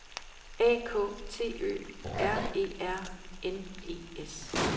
A K T Ø R E R N E S